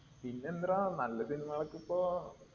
പിന്നെന്തെടാ നല്ല cinema കൾ ഒക്കെ ഇപ്പൊ